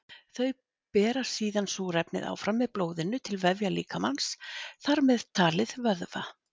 Þau bera síðan súrefnið áfram með blóðinu til vefja líkamans, þar með talið vöðva.